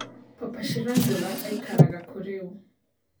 papa Shirandula aĩkaraga kũ rĩũ